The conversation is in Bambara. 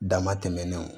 Dama tɛmɛnenw